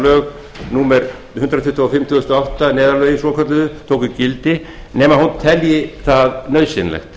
lög númer hundrað tuttugu og fimm tvö þúsund og átta neyðarlögin svokölluðu tóku gildi nema hún telji það nauðsynlegt